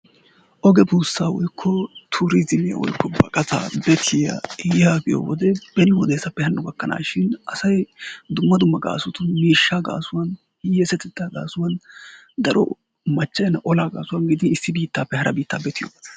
Oge buussaa woykko tuurizimiya woykko baqataa bettiyaa yaagiyo wode beni wodessappe hano gakkanashin asay dumma dumma gaasotun miishshaa gaasuwan, hiyeesatetta gaasuwan, daro machca'ena olaa gaasuwan gidin issi biittappe haraa biittaa betiyoogaa.